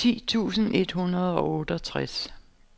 ti tusind et hundrede og otteogtres